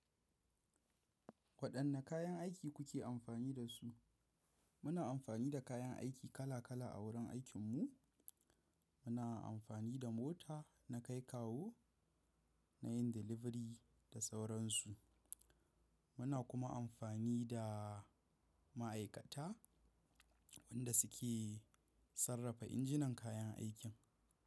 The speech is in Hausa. Waɗanne kayan aiki kuke amfani da su? Muna amfani da kayan aiki kala kala a wurin aikinmu, muna amfani da mota na kai kawu nayin delivery da sauransu. Muna kuma amfani da ma'aikata wanda suke sarrafa injinan kayan aikin.